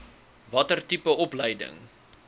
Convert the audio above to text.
watter tipe opleiding